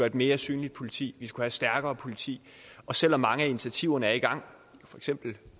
et mere synligt politi vi skulle have et stærkere politi og selv om mange af initiativerne er i gang for eksempel